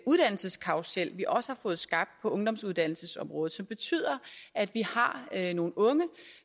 uddannelseskarrusel vi også har fået skabt på ungdomsuddannelsesområdet som betyder at vi har nogle unge